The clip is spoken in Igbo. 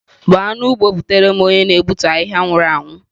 Gbaa n'ugbo butere m onye na-egbutu ahihia nwuru anwu